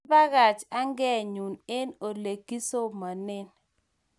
kiabakach angeenyu an ole kisomanen